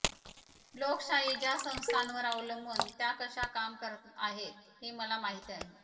लोकशाही ज्या संस्थांवर अवलंबून त्या कशा काम करत आहेत हे मला माहिती आहे